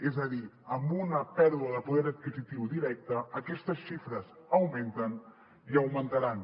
és a dir amb una pèrdua de poder adquisitiu directe aquestes xifres augmenten i augmentaran